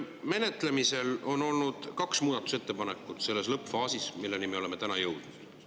Menetlemisel on olnud kaks muudatusettepanekut selles lõppfaasis, kuhu me oleme tänaseks jõudnud.